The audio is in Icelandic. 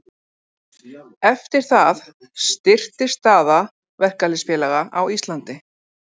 Eftir það styrktist staða verkalýðsfélaga á Íslandi.